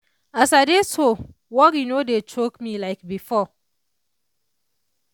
as i dey so worry no dey choke me like before.